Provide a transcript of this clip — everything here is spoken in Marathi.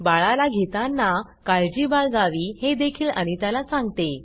बाळाला घेतांना काळजी बाळगावी हे देखील अनिता ला सांगते